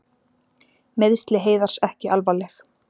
Meiðsli Heiðars ekki alvarleg